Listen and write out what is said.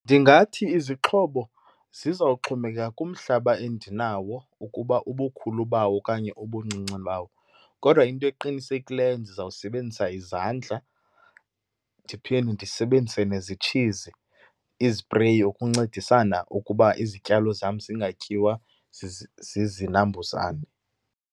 Ndingathi izixhobo zizawuxhomekeka kumhlaba endinawo ukuba ubukhulu bawo okanye ubuncinci bawo. Kodwa into eqinisekileyo ndizawusebenzisa izandla, ndiphinde ndisebenzise nezitshizi, izipreyi, ukuncedisana ukuba izityalo zam zingatyiwa zizinambuzane.